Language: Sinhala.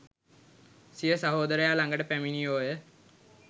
සිය සහෝදරයා ළඟට පැමිණියෝය